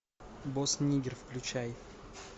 босс ниггер включай